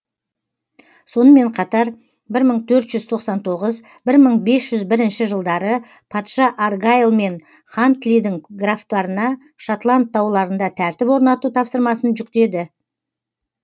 сонымен қатар бір мың төрт жүз тоқсан тоғыз бір мың бес жүз бірінші жылдары патша аргайл мен хантлидің графтарына шотланд тауларында тәртіп орнату тапсырмасын жүктеді